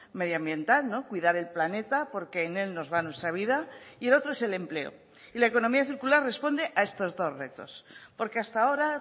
medioambiental cuidar el planeta porque en él nos va nuestra vida y el otro es el empleo y la economía circular responde a estos dos retos porque hasta ahora